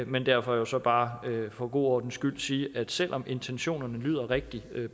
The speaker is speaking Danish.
men derfor jo så bare for god ordens skyld sige at selv om intentionerne lyder rigtig